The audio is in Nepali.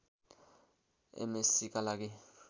एमएस्सीका लागि